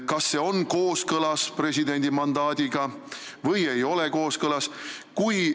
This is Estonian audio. Kas see on kooskõlas presidendi mandaadiga või ei ole kooskõlas?